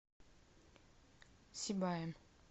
сибаем